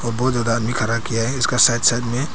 बहुत ज्यादा आदमी खड़ा किया है इसका साइड साइड में।